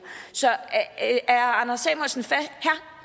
så er herre